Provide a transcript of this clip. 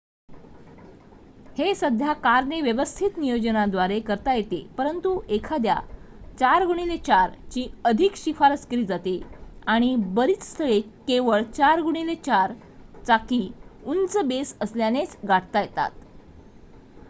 हे साध्या कारने व्यवस्थित नियोजनाद्वारे करता येते परंतु एखाद्या 4x4 ची अधिक शिफारस केली जाते आणि बरीच स्थळे केवळ 4x4 चाकी उंच बेस असलेल्यानेच गाठता येतात